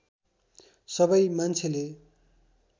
सबै मान्छेले